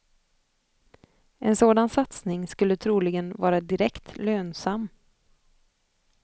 En sådan satsning skulle troligen vara direkt lönsam.